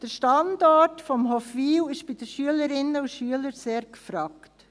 Der Standort Hofwil ist bei den Schülerinnen und Schülern sehr gefragt.